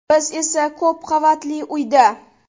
Biz esa ko‘p qavatli uyda.